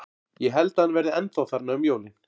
Ég held að hann verði ennþá þarna um jólin.